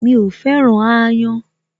Mi ò féràn aáyán